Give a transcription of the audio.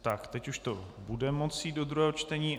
Tak teď už to bude moci jít do druhého čtení.